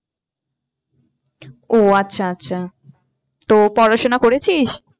ও আচ্ছা আচ্ছা তো পড়াশোনা করেছিস?